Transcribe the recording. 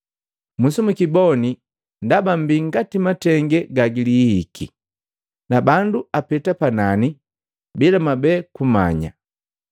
Musimukiboni! Ndaba mmbi ngati matenge gagilihihiki, na bandu apeta panani bila mwabeti kumanya.”